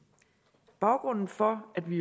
baggrunden for at vi